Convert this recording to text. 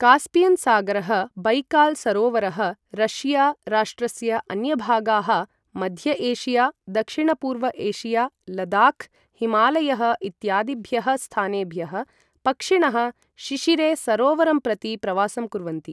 Caspian सागरः, Baikal सरोवरः, Russia राष्ट्रस्य अन्यभागाः, मध्य एशिया, दक्षिणपूर्व एशिया, लदाख्, हिमालयः इत्यादिभ्यः स्थानेभ्यः, पक्षिणः शिशिरे सरोवरं प्रति प्रवासं कुर्वन्ति।